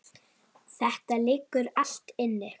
Þetta liggur allt inni